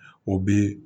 O bi